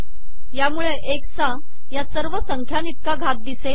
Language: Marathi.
यामुळे एकस चा या सवर संखयाइतका घात िदसेल